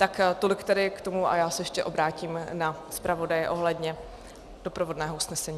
Tak tolik tedy k tomu a já se ještě obrátím na zpravodaje ohledně doprovodného usnesení.